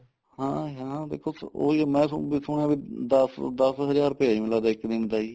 ਹਾਂ ਹਾਂ ਦੇਖੋ ਉਹੀ ਮੈਂ ਦੇਖੋ ਨਾ ਬੀ ਦਸ ਦਸ ਹਜਾਰ ਰੁਪਏ ਏ ਜੀ ਮੈਨੂੰ ਲਗਦਾ ਇੱਕ ਦਿਨ ਦਾ ਜੀ